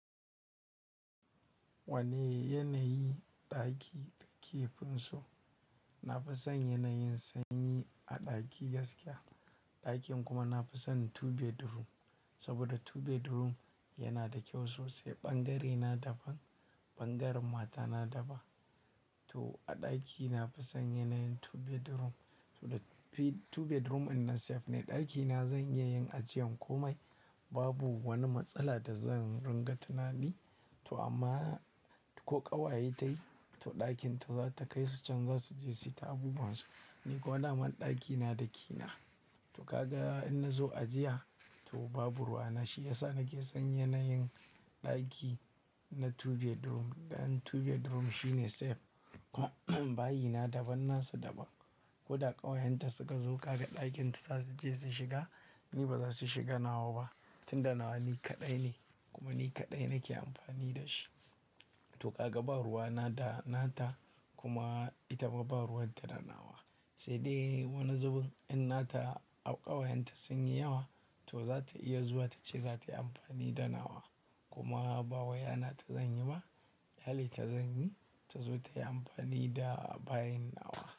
Wane yanayi ɗaki kake fin so? Na fi san yanayin sanyi a ɗaki gaskiya. Ɗakin kuma na fi san two bedroom. Saboda two bedroom yana da kyau sosai. Ɓangare na daban, ɓangaren matana daban. To a ɗaki na fi san yanayin two bedroom. To the two bedroom ɗinnan safe ne ɗakina zan iya yin ajiyan komai. Babu wani matsala da zan ringa tunani. To amma ko ƙawaye ta yi, to ɗakinta za ta kai su can za su je su ta abubuwan su. Ni kuwa daman ɗaki na key na. To ka ga in na zo ajiya to babu ruwana. Na shi ya sa nake son yanayin ɗaki na two bedroom. Dan two bedroom shine safe. Bayi na daban, nasu daban. Ko da ƙawayenta suka zo ka ga ɗakinta za su je su shiga. Ni ba za su shiga nawa ba. Tun da nawa ni kaɗai ne kuma ni kaɗai nake amfani da shi. To ka ga babu ruwa na da nata, kuma ita ma babu ruwan ta da nawa. Sai dai wani zubin in na ta au ƙawayenta sun yi yawa to za ta iya zuwa ta ce za ta yi amfani da nawa. Kuma ba wai hana ta zan yi ba. Ƙyale ta zan yi, ta zo ta yi amfani da bayin nawa.